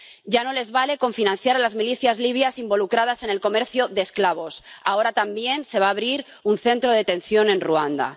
Ya no les vale con financiar a las milicias libias involucradas en el comercio de esclavos, ahora también se va a abrir un centro de detención en Ruanda.